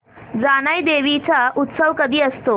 जानाई देवी चा उत्सव कधी असतो